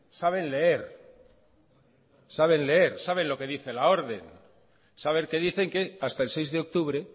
saben leer saben leer saben lo que dice la orden saber que dicen que hasta el seis de octubre